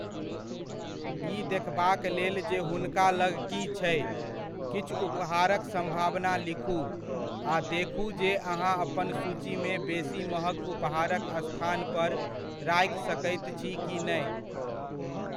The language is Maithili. ई देखबाक लेल जे हुनका लग की छै, किछु उपहारक सम्भावना लिखू, आ देखू जे अहाँ अपन सूचीमे बेसी महग उपहारक स्थान पर राखि सकैत छी कि नहि।